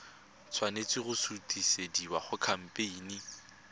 tshwanela go sutisediwa go khamphane